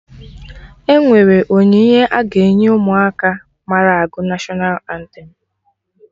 Enwere onyinye a ga-enye Ụmụaka mara agụ National antem